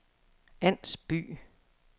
Ans By